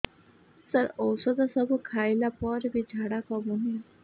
ସାର ଔଷଧ ସବୁ ଖାଇଲା ପରେ ବି ଝାଡା କମୁନି